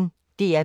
DR P1